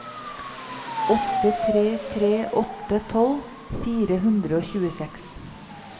åtte tre tre åtte tolv fire hundre og tjueseks